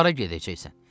Hara gedəcəksən?